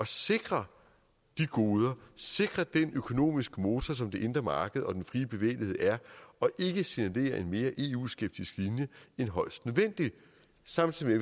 sikre de goder sikre den økonomiske motor som det indre marked og den frie bevægelighed er og ikke signalere en mere eu skeptisk end højst nødvendigt samtidig